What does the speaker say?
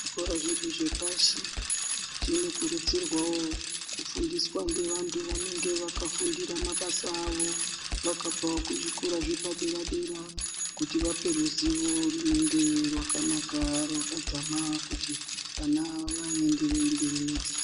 Zvikora zvedu zvepashi zvinokurudzirwawo kufundiswa ngevantu vanenge vakafundira mabasa avo, vakabvawo kuzvikora zvepadera dera kuti vape ruzivo runenge rwakanaka rwakadzama kuti vana vaenderere mberi nedzidzo.